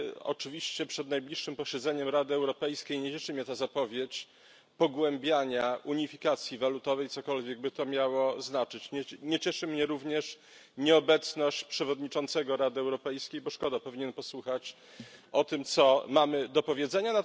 Oczywiście przed najbliższym posiedzeniem Rady Europejskiej nie cieszy mnie ta zapowiedź pogłębiania unifikacji walutowej, cokolwiek by to miało znaczyć. Nie cieszy mnie również nieobecność przewodniczącego Rady Europejskiej, bo szkoda, powinien posłuchać, co mamy do powiedzenia.